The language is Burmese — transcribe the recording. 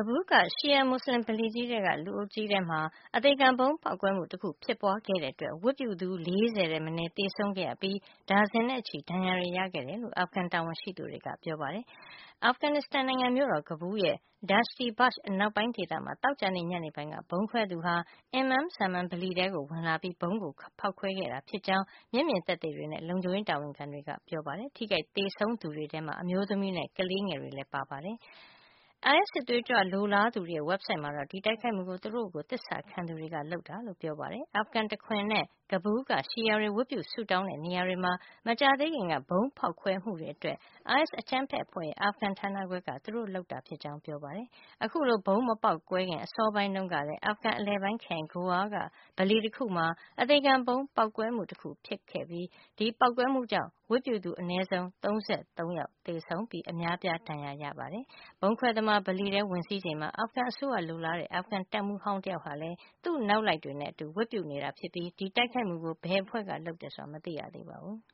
ဘူးလ် က ရှီယာမူစလင် ဗလီထဲက လူအုပ်ကြီးထဲမှာ အသေခံဗုံးပေါက်ကွဲမှု တခု ဖြစ်ပွါးခဲ့တဲ့ အတွက် ဝတ်ပြုသူ ၄၀ ထက် မနည်း သေဆုံးခဲ့ရပြီး ဒါဇင်နဲ့ချီ ဒဏ်ရာတွေ ရခဲ့တယ်လို့ အာဖဂန် တာဝန်ရှိသူတွေက ပြောပါတယ်။ အာဖဂန်နစ္စတန် မြို့တော်ကဘူးလ်ရဲ့ Dashti Barch အနောက်ပိုင်းဒေသမှာ သောကြာနေ့ ညနေပိုင်းက ဗုံးခွဲသူဟာ Imam Zaman ပလီထဲ ဝင်လာခဲ့ပြီး ဗုံးကို ဖေါက်ခွဲခဲ့တာ ဖြစ်ကြောင်း မျက်မြင် သက်သေတွေနဲ့ လုံခြုံရေးတာဝန်ခံ တွေက ပြောပါတယ်။ ထိခိုက်သေဆုံးသူတွေထဲမှာ အမျိုးသမီးတွေနဲ့ ကလေးငယ်တွေလည်း ပါနေပါတယ်။ သေဆုံးသူ ခုထက် ပိုများနိုင်တယ်လို့ ဒေသတွင်း သတင်းတွေက ဆိုပါတယ်။ အိုင်အက်စ် စစ်သွေးကြွ လိုလားသူတွေရဲ့ ဝက်ဘ်ဆိုက်မှာတော့ ဒီတိုက်ခိုက်မှုကိုသူတို့ကို သစ္စာခံသူတွေက လုပ်ဆောင်တာလို့ ပြောပါတယ်။ အာဖဂန် တခွင်နဲ့ ကဘူးလ် က ရှီယာတွေ ဝတ်ပြုဆုတောင်းတဲ့ နေရာတွေမှာ မကြာသေးခင်က ဗုံးဖေါက်ခွဲမှုတွေအတွက် အိုင်အက်စ် အကြမ်းဖက်အဖွဲ့ရဲ့ အာဖဂန် ဌာနခွဲက သူတို့ လုပ်ဆောင်တာ ဖြစ်ကြောင်း ပြောပါတယ်။ အခုလို ဗုံးမပေါက်ကွဲခင် အစောပိုင်း တုန်းကလည်း အာဖဂန်အလယ်ပိုင်း ခရိုင် Ghor က ပလီတခုမှာ အသေခံဗုံး ပေါက်ကွဲမှု တခု ဖြစ်ခဲ့ပါတယ်။ အဲဒီပေါက်ကွဲမှုကြောင့် ဝတ်ပြုသူ အနဲဆုံး ၃၃ ယောက် သေဆုံးပြီး အများအပြား ဒဏ်ရာရခဲ့တယ်လို့ တာဝန်ရှိသူတွေက VOA ကို အတည်ပြုပါတယ်။ ဗုံးခွဲသမား ပလီထဲ ဝင်စီးချိန်မှာ အာဖဂန် အစိုးရကို လိုလားတဲ့ အာဖဂန်တပ်မှုး ဟောင်း တယောက်ဟာလည်း သူ့ရဲ့ နောက်လိုက်တွေနဲ့ အတူ ဝတ်ပြုနေတာ ဖြစ်ပြီး ဒီတိုက်ခိုက်မှုကို ဘယ်အဖွဲ့က လုပ်ဆောင်တယ် ဆိုတာ မသိရသေးပါဘူး။